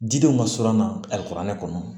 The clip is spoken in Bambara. Didenw ka surun an na alikɔrɔni kɔnɔ